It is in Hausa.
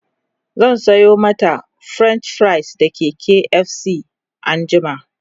zan Sayo mata french fries daga KFC anjima